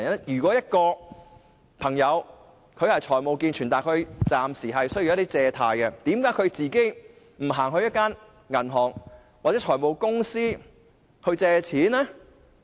如果一位人士的財務健全，但暫時需要一些借貸，為何他不到銀行或財務公司借錢呢？